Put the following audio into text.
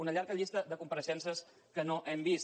una llarga llista de compareixences que no hem vist